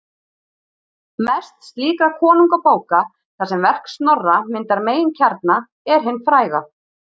Mest slíkra konungabóka, þar sem verk Snorra myndar meginkjarna, er hin fræga